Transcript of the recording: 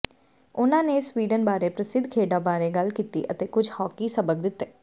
ਉਨ੍ਹਾਂ ਨੇ ਸਵੀਡਨ ਬਾਰੇ ਪ੍ਰਸਿੱਧ ਖੇਡਾਂ ਬਾਰੇ ਗੱਲ ਕੀਤੀ ਅਤੇ ਕੁਝ ਹਾਕੀ ਸਬਕ ਦਿੱਤੇ